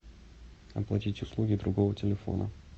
оплатить услуги другого телефона